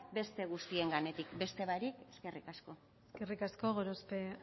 beste guztien gainetik beste barik eskerrik asko eskerrik asko gorospe